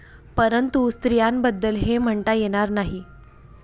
परंतु स्त्रियांबद्दल हे म्हणता येणार नाही.